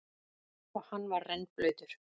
Og hann var rennblautur.